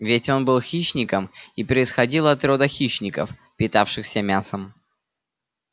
ведь он был хищником и происходил от рода хищников питавшихся мясом